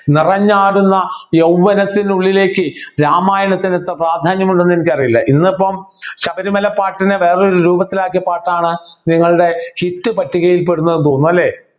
നിറഞ്ഞാടുന്ന യൗവനത്തിനുള്ളിലേക്ക് രാമായണത്തിന് പ്രാധാന്യമുണ്ടോ ന്നു എനിക്കറിയില്ല ഇന്നിപ്പോ ശബരിമല പാട്ടിനെ വേറൊരു രൂപത്തിലാക്കിയ പാട്ടാണ് നിങ്ങളുടെ hit പട്ടികയിൽപ്പെടുന്നത് എന്ന് തോന്നുന്നു അല്ലെ